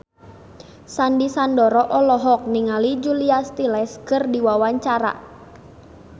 Sandy Sandoro olohok ningali Julia Stiles keur diwawancara